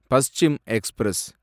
Paschim express